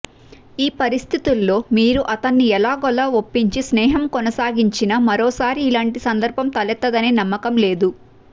ఈ పరిస్థితుల్లో మీరు అతన్ని ఎలాగోలా ఒప్పించి స్నేహం కొనసాగించినా మరోసారి ఇలాంటి సందర్భం తలెత్తదనే నమ్మకం లేదు